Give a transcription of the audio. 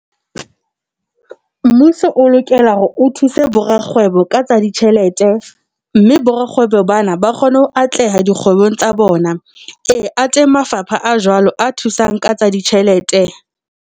Mmuso o lokela hore o thuse borakgwebo ka tsa ditjhelete, mme borakgwebo bana ba kgone ho atleha dikgwebong tsa bona. E, a teng mafapha a jwalo a thusang ka tsa ditjhelete.